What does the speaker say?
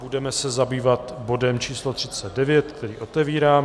Budeme se zabývat bodem číslo 39, který otevírám.